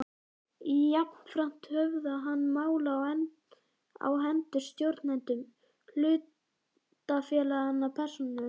Jafnframt höfðað hann mál á hendur stjórnendum hlutafélaganna persónulega.